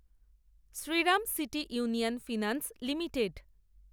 Shriram City Union Finance limited